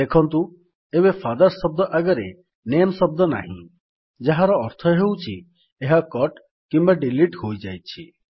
ଦେଖନ୍ତୁ ଏବେ ଫାଦର୍ସ ଶବ୍ଦ ଆଗରେ ନାମେ ଶବ୍ଦ ନାହିଁ ଯାହାର ଅର୍ଥ ହେଉଛି ଏହା କଟ୍ କିମ୍ୱା ଡିଲିଟ୍ ହୋଇଯାଇଛି